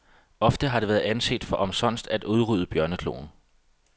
Ofte har det været anset for omsonst at udrydde bjørnekloen.